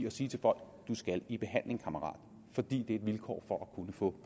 at sige til folk du skal i behandling kammerat fordi det er et vilkår for at kunne få